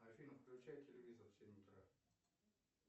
афина включай телевизор в семь утра